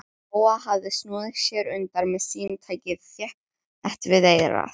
Lóa hafði snúið sér undan með símtækið þétt við eyrað.